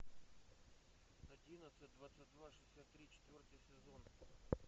одиннадцать двадцать два шестьдесят три четвертый сезон